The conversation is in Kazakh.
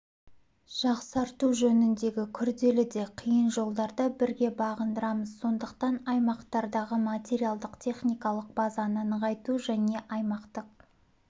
жақсарту жөніндегі күрделі де қиын жолдарды бірге бағындырамыз сондықтан аймақтардағы материалдық-техникалық базаны нығайту және аймақтық